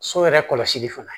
So yɛrɛ kɔlɔsili fana